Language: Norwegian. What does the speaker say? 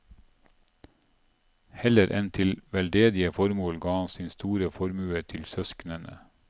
Heller enn til veldedige formål ga han sin store formue til søsknene.